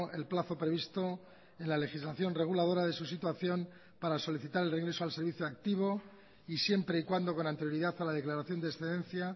el plazo previsto en la legislación reguladora de su situación para solicitar el regreso al servicio activo y siempre y cuando con anterioridad a la declaración de excedencia